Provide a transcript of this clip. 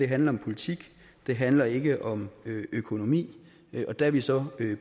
handler om politik det handler ikke om økonomi og der er vi så